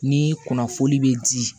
Ni kunnafoni be di